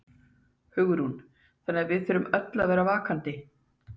Hugrún: Þannig að við þurfum öll að vera vakandi?